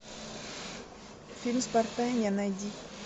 фильм спортания найди